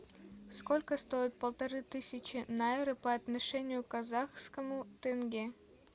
сколько стоит полторы тысячи найры по отношению к казахскому тенге